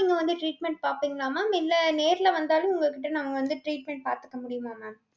நீங்க வந்து treatment பாப்பிங்களா mam இல்ல நேர்ல வந்தாலும் உங்ககிட்ட நாங்க வந்து treatment பாத்துக்க முடியுமா mam